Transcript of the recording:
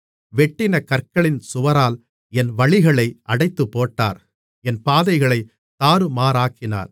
வெட்டின கற்களின் சுவரால் என் வழிகளை அடைத்துப்போட்டார் என் பாதைகளைத் தாறுமாறாக்கினார்